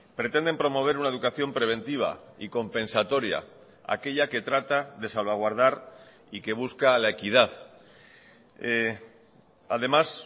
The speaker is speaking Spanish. pretenden promover una educación preventiva y compensatoria aquella que trata de salvaguardar y que busca la equidad además